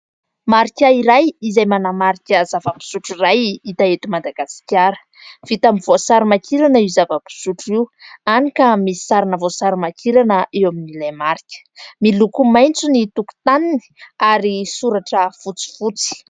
Marika iray izay manamarika zava-pisotro iray hita eto Madagasikara. Vita amin'ny voasary makirana io zava-pisotro io, hany ka misy sarina voasary makirana eo amin'ilay marika. Miloko maitso ny tokotaniny ary soratra fotsifotsy.